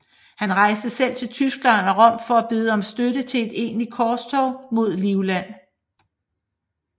Han rejste selv til Tyskland og Rom for at bede om støtte til et egentligt korstog mod Livland